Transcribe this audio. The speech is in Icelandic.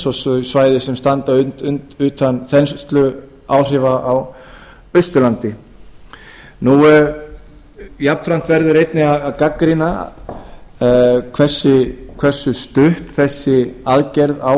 og svæði sem standa utan þensluáhrifa á austurlandi jafnframt verður einnig að gagnrýna hversu stutt þessi aðgerð á